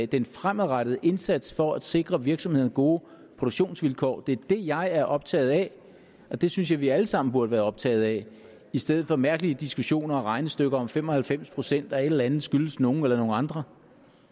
den fremadrettede indsats for at sikre virksomhederne gode produktionsvilkår det er det jeg er optaget af og det synes jeg vi alle sammen burde være optaget af i stedet for mærkelige diskussioner og regnestykker om fem og halvfems procent at et eller andet skyldes nogle andre